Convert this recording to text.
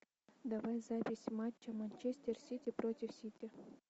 давай запись матча манчестер сити против сити